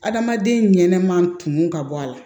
Adamaden ɲɛnɛma kun ka bɔ a la